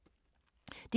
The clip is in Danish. DR K